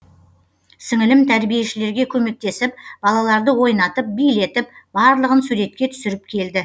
сіңілім тәрбиешілерге көмектесіп балаларды ойнатып билетіп барлығын суретке түсіріп келді